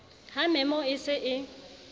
ha memo e se e